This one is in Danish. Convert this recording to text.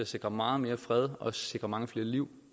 sikre meget mere fred og sikre mange flere liv